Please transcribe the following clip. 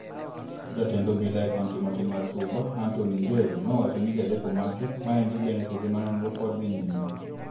Jatend obila e kaunti matin mar Suba, Antony Njeru nowacho ni ji adek omaki . Meandi bende seche ma nonro pod dhi nyime.